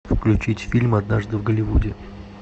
включить фильм однажды в голливуде